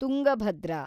Tungabhadra